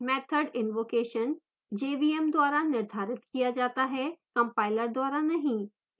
method invocation jvm द्वारा निर्धारित किया जाता है compiler द्वारा नहीं